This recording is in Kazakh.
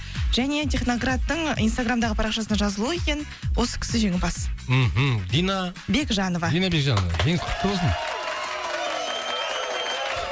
және техноградтың инстаграмдағы парақшасына жазулы екен осы кісі жеңімпаз мхм дина бекжанова дина бекжанова жеңіс құтты болсын